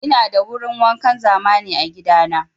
Ina da wurin wankan zamani a gida na.